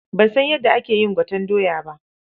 Ban san yadda ake yin gwaten doya ba.